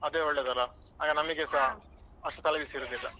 ಅದೇ ಒಳ್ಳೆಯದಲ್ಲ ಆಗ ನಮ್ಗೆಸ ಅಷ್ಟು ತಲೆಬಿಸಿ ಇರುದಿಲ್ಲ.